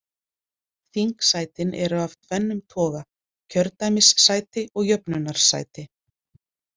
Þingsætin eru af tvennum toga, kjördæmissæti og jöfnunarsæti.